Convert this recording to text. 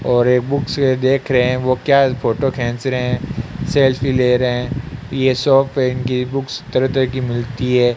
और एक बुक्स देख रहे हैं वो क्या फोटो खेंच रहे हैं सेल्फी ले रहे हैं ये शॉप है इनकी बुक्स तरह तरह की मिलती है।